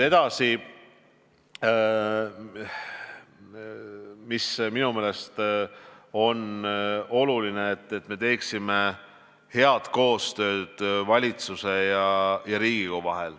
Edasi: minu meelest on oluline, et oleks hea koostöö valitsuse ja Riigikogu vahel.